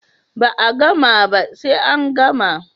Ba a gama ba sai an gama